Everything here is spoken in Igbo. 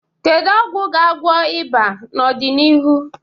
Kedu ọgwụ ga-agwọ ịba n'ọdịnihu?